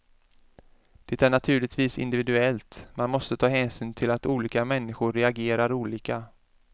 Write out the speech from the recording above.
Det är naturligtvis individuellt, man måste ta hänsyn till att olika människor reagerar olika.